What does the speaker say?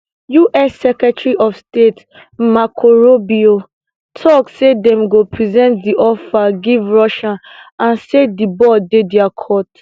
us secretary of state marco rubio tok say dem go present di offer give russia and say di ball dey dia court